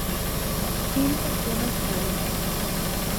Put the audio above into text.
In tako naprej.